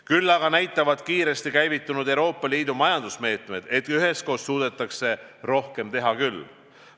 Küll aga näitavad kiiresti käivitunud Euroopa Liidu majandusmeetmed, et üheskoos suudetakse rohkem teha küll.